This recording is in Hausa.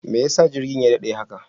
Mai yasa jirgin ya daɗe haka?